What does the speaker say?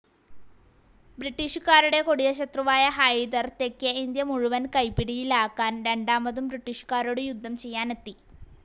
ബ്രിട്ടീഷുകാരുടെ കൊടിയ ശത്രുവായ ഹൈദർ തെക്കേ ഇന്ത്യ മുഴുവൻ കൈപ്പിടിയിലാക്കാൻ രണ്ടാമതും ബ്രിട്ടീഷുകരോടു യുദ്ധം ചെയ്യാനെത്തി.